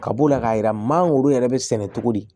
Ka b'o la k'a yira maaw yɛrɛ bɛ sɛnɛ cogo di